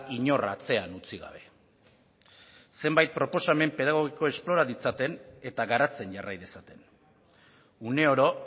inor atzean utzi gabe zenbait proposamen pedagogiko esplora ditzaten eta garatzen jarrai dezaten uneoro